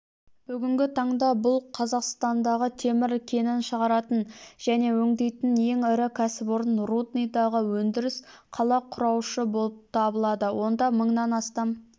бүгінгі таңда бұл қазақстандағы темір кенін шығаратын және өңдейтін ең ірі кәсіпорын рудныйдағы өндіріс қала құраушы болып табылады онда мыңнан астам